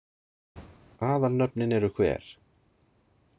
Aðalnöfnin eru hver.